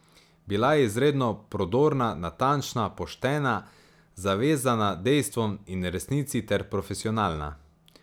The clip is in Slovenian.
Bila je izredno prodorna, natančna, poštena, zavezana dejstvom in resnici ter profesionalna.